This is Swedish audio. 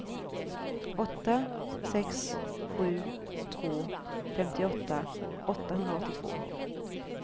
åtta sex sju två femtioåtta åttahundraåttiotvå